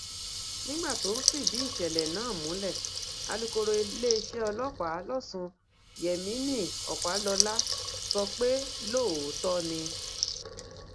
nígbà tó ń fìdí ìṣẹlẹ náà múlẹ alukoro iléeṣẹ ọlọpàá lọsùn yemini ọpàlọlá sọ pé lóòótọ ni